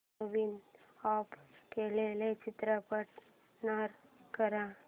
नवीन add केलेला चित्रपट run कर